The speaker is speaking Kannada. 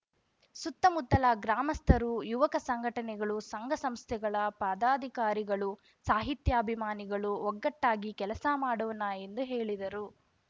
ಸುತ್ತಮುತ್ತಲ ಗ್ರಾಮಸ್ಥರು ಯುವಕ ಸಂಘಟನೆಗಳು ಸಂಘ ಸಂಸ್ಥೆಗಳ ಪದಾಧಿಕಾರಿಗಳು ಸಾಹಿತ್ಯಾಭಿಮಾನಿಗಳು ಒಗ್ಗಟ್ಟಾಗಿ ಕೆಲಸ ಮಾಡೋಣ ಎಂದು ಹೇಳಿದರು